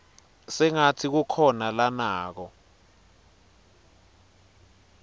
sengatsi kukhona lanako